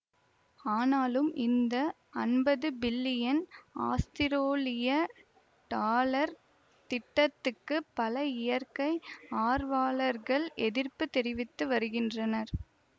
ஆனாலும் இந்த அம்பது பில்லியன் ஆஸ்திரோலிய டாலர் திட்டத்துக்கு பல இயற்கை ஆர்வலைர்கள் எதிர்ப்பு தெரிவித்து வருகின்றனர்